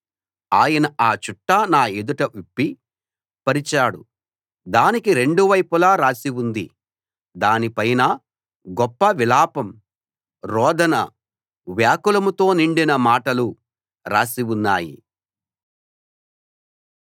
ఆయన ఆ చుట్ట నా ఎదుట విప్పి పరిచాడు దానికి రెండు వైపులా రాసి ఉంది దాని పైన గొప్ప విలాపం రోదన వ్యాకులంతో నిండిన మాటలు రాసి ఉన్నాయి